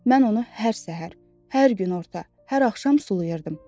Mən onu hər səhər, hər gün orta, hər axşam sulayırdım.